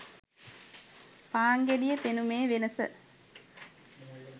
පාන් ගෙඩියේ පෙනුමේ වෙනස